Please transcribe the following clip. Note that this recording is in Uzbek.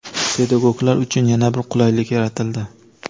Pedagoglar uchun yana bir qulaylik yaratildi:.